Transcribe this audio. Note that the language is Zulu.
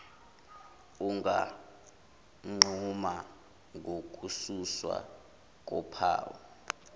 unganquma ngokususwa kophawu